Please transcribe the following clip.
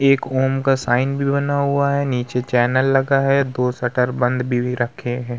एक ओम का साइन भी बना हुआ है। नीचे चैनल लगा है। दो शटर बंद भी रखे हैं।